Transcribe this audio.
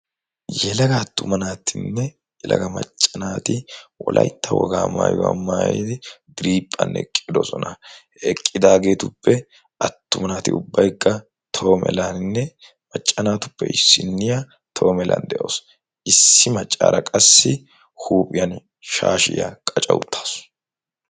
yelaga attuma naatinne elaga maccanaati wolaytta wogaa maayuwaa maayidi driiphphan eqqidosona he eqqidaageetuppe attumanaati ubbaigga toomelaaninne macca naatuppe issinniya toho melan de'oosu issi maccaara qassi huuphiyan shaashiyaa qacha uttaasu